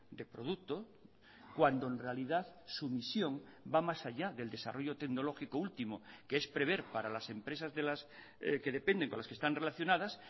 de producto cuando en realidad su misión va más allá del desarrollo tecnológico último que es prever para las empresas de las que dependen con las que están relacionadas